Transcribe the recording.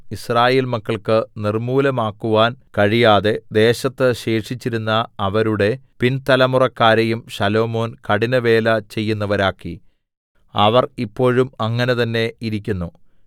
യിസ്രായേൽ മക്കൾക്ക് നിർമ്മൂലമാക്കുവാൻ കഴിയാതെ ദേശത്ത് ശേഷിച്ചിരുന്ന അവരുടെ പിൻതലമുറക്കാരെയും ശലോമോൻ കഠിനവേല ചെയ്യുന്നവരാക്കി അവർ ഇപ്പോഴും അങ്ങനെ തന്നെ ഇരിക്കുന്നു